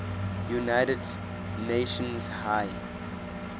united nations high